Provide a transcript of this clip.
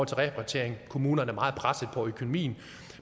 til repatriering kommunerne er meget pressede på økonomien